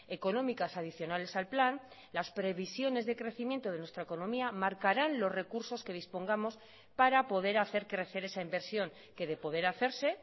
económicas adicionales al plan las previsiones de crecimiento de nuestra economía marcarán los recursos que dispongamos para poder hacer crecer esa inversión que de poder hacerse